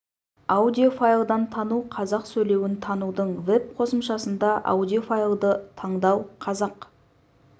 аудио файлдан тану қазақ сөйлеуін танудың веб-қосымшасында аудио файлды таңдау қазақ